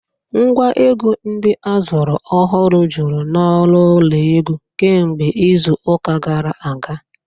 Ngwa egwu ndị a zụrụ ọhụrụ juru n'ọnụ ụlọ egwu kemgbe izu ụka gara aga